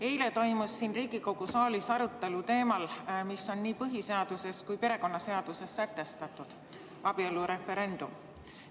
Eile toimus siin Riigikogu saalis arutelu teemal, mis on nii põhiseaduses kui ka perekonnaseaduses sätestatud – abielureferendum.